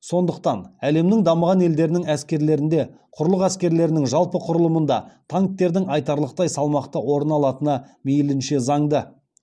сондықтан әлемнің дамыған елдерінің әскерлерінде құрлық әскерлерінің жалпы құрылымында танктердің айтарлықтай салмақты орын алатыны мейлінше заңды